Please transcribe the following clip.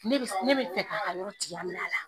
Ne bɛ ne bɛ fɛ ka ka yɔrɔ tigɛya minɛ a la.